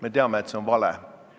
Me teame, et see on vale.